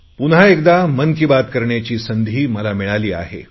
पुन्हा एकदा मन की बात करण्याची संधी मला मिळाली आहे